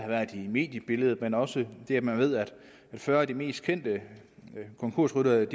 været i medierne men også ved at man ved at fyrre af de mest kendte konkursryttere